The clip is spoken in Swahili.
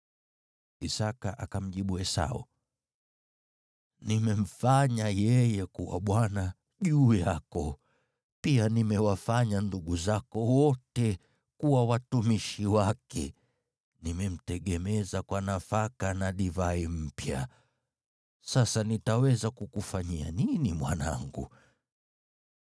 Isaki akamjibu Esau, “Nimemfanya yeye kuwa bwana juu yako, pia nimewafanya ndugu zako wote kuwa watumishi wake, nimemtegemeza kwa nafaka na divai mpya. Sasa nitaweza kukufanyia nini, mwanangu?”